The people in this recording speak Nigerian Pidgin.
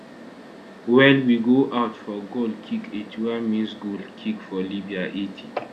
well wey go out for goal kick 81 minsgoal kick for libya 80